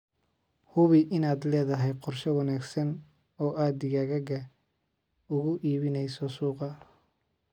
Hubi inaad leedahay qorshe wanaagsan oo aad digaaggaaga ugu iibinayso suuqa.